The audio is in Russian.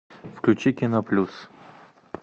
включи кино плюс